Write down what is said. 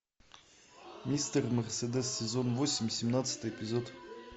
мистер мерседес сезон восемь семнадцатый эпизод